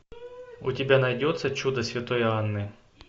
у тебя найдется чудо святой анны